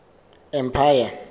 empire